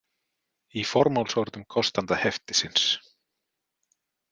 Í formálsorðum kostanda heftisins.